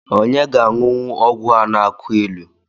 Onye ga-aṅụnwu ọgwụ a na-akụ ilu?